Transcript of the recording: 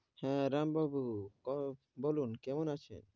হেঁ, রাম বাবু ক বলুন কেমন আছেন?